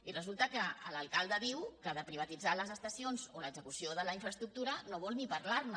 i resulta que l’alcalde diu que de privatitzar les estacions o l’execució de la infraestructura no vol ni parlar ne